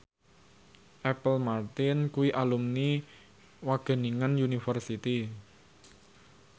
Apple Martin kuwi alumni Wageningen University